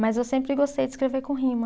Mas eu sempre gostei de escrever com rima.